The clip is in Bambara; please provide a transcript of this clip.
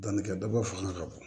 Danni kɛ daba fanga ka bon